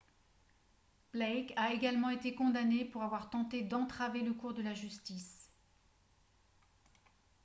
blake a également été condamné pour avoir tenté d'entraver le cours de la justice